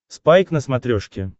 спайк на смотрешке